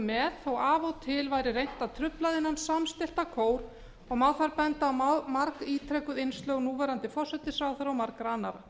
með þó af og til væri reynt að trufla þennan samstillta kór og má þar benda á margítrekuð innslög núverandi forsætisráðherra og margra annarra